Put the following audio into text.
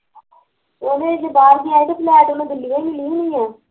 ਉਹਨੇ ਜਦੋਂ ਬਾਹਰ ਜਾਣਾ ਤੇ ਫਲੈਟ ਉਹਨੂੰ ਦਿੱਲੀਓ ਈ ਮਿਲੀ ਹੋਣੀ ਆ